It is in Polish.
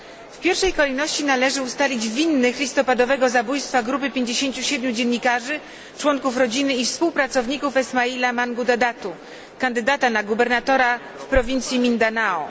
W pierwszej kolejności należy ustalić winnych listopadowego zabójstwa grupy 57 dziennikarzy, członków rodziny i współpracowników Esmaila Mangudadatu, kandydata na gubernatora w prowincji Mindanao.